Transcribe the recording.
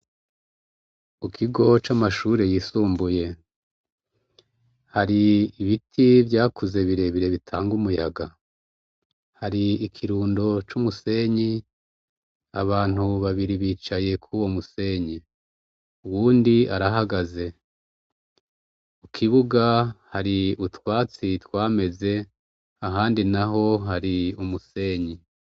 Mukigo camashure yisumbuye hari ibiti vyakuze birebire bitanga umuyaga hari ikirundo cumusenyi abantu babiri bicaye kuwomusenyi uwundi arahagaze kukibuga hari utwatsi twameze ahandi naho hari umusenyi